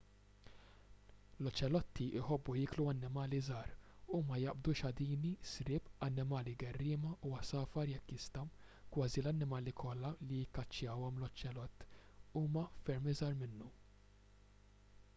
l-oċelotti jħobbu jieklu annimali żgħar huma jaqbdu xadini sriep annimali gerriema u għasafar jekk jistgħu kważi l-annimali kollha li jikkaċċjahom l-oċelott huma ferm iżgħar minnu